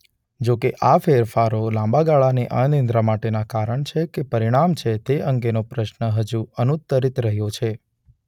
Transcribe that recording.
જો કે આ ફેરફારો લાંબા ગાળાની અનિદ્રા માટેના કારણ છે કે પરિણામ છે તે અંગેનો પ્રશ્ન હજુ અનુત્તરિત રહ્યો છે.